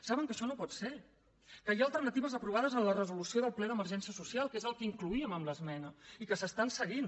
saben que això no pot ser que hi ha alternatives aprovades en la resolució del ple d’emergència social que és el que incloíem amb l’esmena i que s’estan seguint